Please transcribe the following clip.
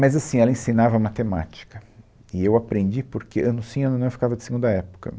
Mas, assim, ela ensinava matemática e eu aprendi porque ano sim, ano não, eu ficava de segunda época.